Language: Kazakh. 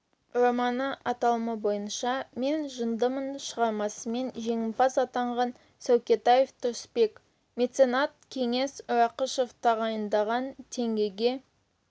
романы аталымы бойынша мен жындымын шығармасымен жеңімпаз атанған сәукетаев тұрысбек меценат кеңес рақышев тағайындаған теңгеге